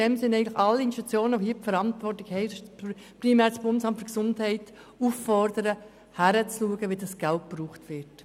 Alle Institutionen, die Verantwortung tragen, primär das BAG, sollen damit dringend aufgefordert werden, hinzuschauen, wie das Geld verwendet wird.